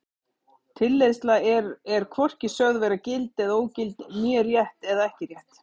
Tilleiðsla er er hvorki sögð vera gild eða ógild né rétt eða ekki rétt.